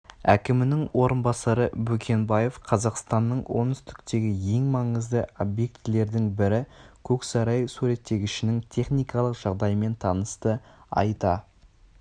әкімінің орынбасары бөкенбаев қазақстанның оңтүстіктегі ең маңызды объектілердің бірі көксарай суреттегішінің техникалық жағдайымен танысты айта